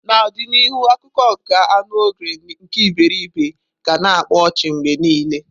N'ọdịnihu akụkọ nke anu Ogre nke iberibe ga na akpa ọchị mgbe niile.